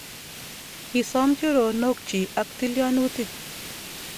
Kisom choronokchi ak tilyanutik